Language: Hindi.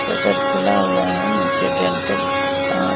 शटर खुला हुआ है नीचे डेंटल दांत।